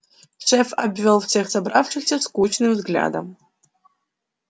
шеф обвёл всех собравшихся скучным взглядом